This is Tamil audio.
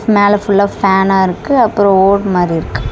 மேல ஃபுல்லா ஃபேனா இருக்கு அப்றோ ஓட் மாரி இருக்கு.